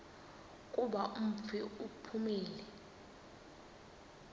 kuba umfi uphumile